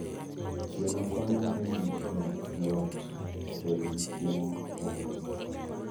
Gweno konyo e miyo joot obed gi chiemo mogundho.